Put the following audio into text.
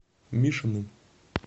мишиным